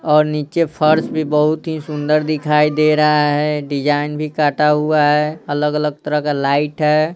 और नीचे फर्श भी बहुत ही सुंदर दिखाई दे रहा है डिजाइन भी काटा हुआ है अलग-अलग तरह का लाइट है।